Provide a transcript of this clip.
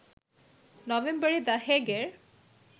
নভেম্বরে the Hague - A